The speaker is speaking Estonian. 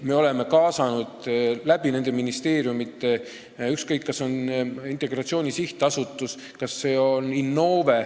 Me oleme ministeeriumide kaudu kaasanud partnereid, olgu Integratsiooni Sihtasutust, olgu Innovet.